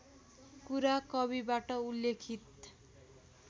कुरा कविबाट उल्लेखित